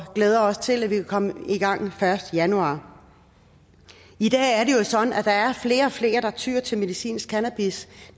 glæder os til at vi kan komme i gang den første januar i dag er det jo sådan at der er flere og flere der tyer til medicinsk cannabis